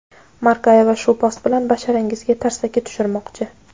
Markayeva bu post bilan basharangizga tarsaki tushurmoqchi.